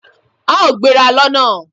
A ó gbéra lọ́na